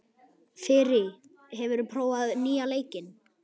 Þyri, hefur þú prófað nýja leikinn?